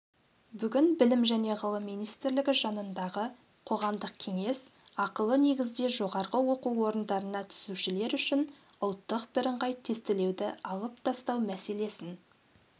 бүгін білім және ғылым министрлігі жанындағы қоғамдық кеңес ақылы негізде жоғарғы оқу орындарына түсушілер үшін ұлттық бірыңғай тестілеуді алып тастау мәселесін